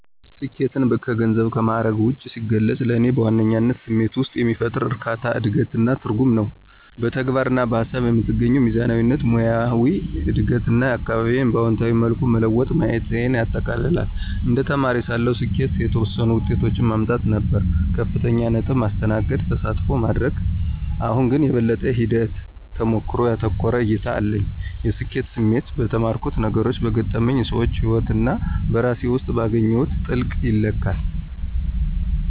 ስኬትን ከገንዘብና ከማዕረግ ውጭ ሲገልጽ፣ ለእኔ በዋነኝነት ስሜት ውስጥ የሚፈጠር እርካታ፣ እድገት እና ትርጉም ነው። በተግባር እና በሃሳብ የምትገኘው ሚዛናዊነት፣ ሙያዊ እድገት እና አካባቢዬን በአዎንታዊ መልኩ መለወጥ ማየቴን ያጠቃልላል። እንደ ተማሪ ሳለሁ፣ ስኬት የተወሰኑ ውጤቶችን ማምጣት ነበር - ከፍተኛ ነጥብ፣ ማስተናገድ፣ ተሳትፎ ማድረግ። አሁን ግን፣ የበለጠ ሂደት-ተሞክሮን ያተኮረ እይታ አለኝ። የስኬት ስሜት በተማርኩት ነገሮች፣ በገጠመኝ ሰዎች ህይወት እና በራሴ ውስጥ ባገኘሁት ጥልቀት ይለካል።